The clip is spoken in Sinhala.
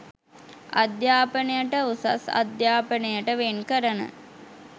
අධ්‍යාපනයට උසස් අධ්‍යාපනයට වෙන් කරන